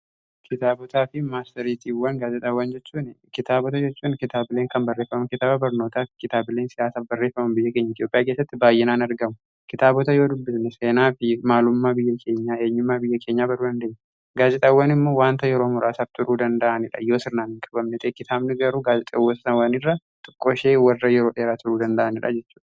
Kitaabotaa fi marsariitiiwwan gaazeexaawwan kitaabota jechuun kitaabileen kan barreeffaman kitaaba barnootaaf kitaabileen barreeffama biyya keenya Itiyoophiyaa keessatti baay'inaan argamu. Kitaabota yoo dubbisne seenaa fi maalummaa biyya keenyaa eenyummaa biyya keenyaa baruu dandeenya. Gaazeexaawwani immoo wanta yeroo muraasaaf turuu danda'anii dha. Yoo sirnaan kabamne kitaabni garuu gaazexaawwan irra tokko ishee warra yeroo dheeraa turuu danda'anidha jechudha.